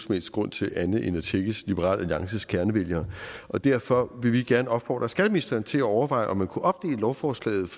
helst grund til andet end for at tækkes liberal alliances kernevælgere derfor vil vi gerne opfordre skatteministeren til at overveje om man kunne opdele lovforslaget